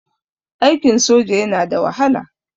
Aikin soja yana da wahala.